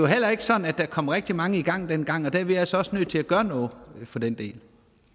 heller ikke sådan at der kom rigtig mange i gang dengang og det er vi altså også nødt til at gøre noget for den del